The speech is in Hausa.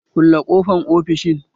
Kulle ƙofan ofishin!